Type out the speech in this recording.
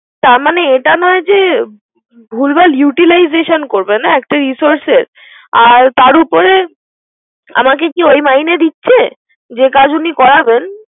তার মানে এটা নয় যে ভুলভল utilization করবে না একটা resurces আর তার উপরে আমাকে ওই মাইনে দিচ্ছে। যে কাজ আমাকে করাবেন।